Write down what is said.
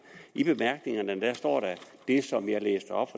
i bemærkningerne står det som jeg læste op